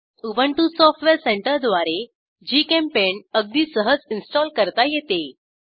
Ubuntu software सेंटरद्वारे GChemPaint अगदी सहज इन्स्टॉल करता येते